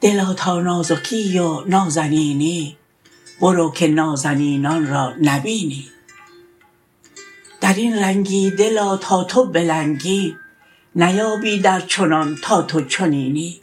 دلا تا نازکی و نازنینی برو که نازنینان را نبینی در این رنگی دلا تا تو بلنگی نیایی در چنان تا تو چنینی